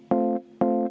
Aitäh hea küsimuse eest!